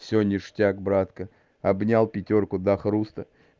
все хорошо брат обнял пятёрку до хруста